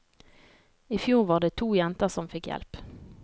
I fjor var det to jenter som fikk hjelp.